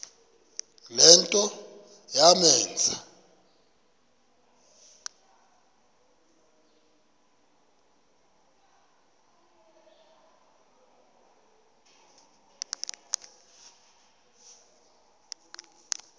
le nto yamenza